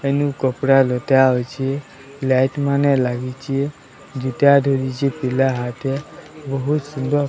ଏନୁ କପଡ଼ା ଦୁଇଟା ଅଛି ଲାଇଟ୍ ମାନେ ଲାଗିଛି ପିଲା ହାଟେ ବୋହୁତ ସୁନ୍ଦର।